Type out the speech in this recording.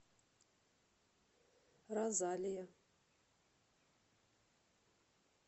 розалия